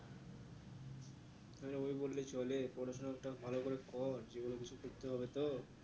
আরে ওই বললে চলে পড়াশোনাটা ভালো করে কর জীবনে কিছু করতে হবে তো